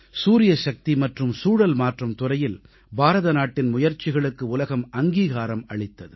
சூரியசக்தி மற்றும் சூழல் மாற்றம் துறையில் பாரத நாட்டின் முயற்சிகளுக்கு உலகம் அங்கீகாரம் அளித்தது